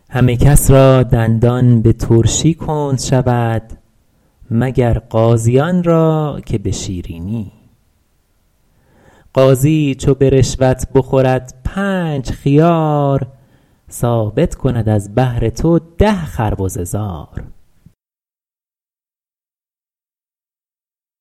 همه کس را دندان به ترشی کند شود مگر قاضیان را که به شیرینی قاضی چو به رشوت بخورد پنج خیار ثابت کند از بهر تو ده خربزه زار